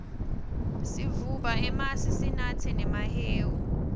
sivuba emasi sinatse nemahewu